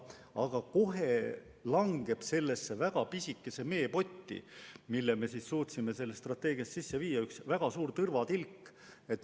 Aga kohe langeb sellesse väga pisikesse meepotti, mille me suutsime strateegiasse sisse viia, üks väga suur tõrvatilk.